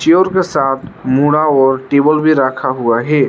Tube के साथ मुंडा और टेबल भी रखा हुआ है।